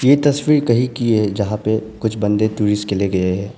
ये तस्वीर कहीं की है जहां पे कुछ बंदे टूरिस्ट के लिए गए हैं।